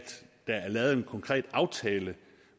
jeg er lavet en konkret aftale